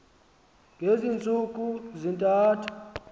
ngezi ntsuku zintathu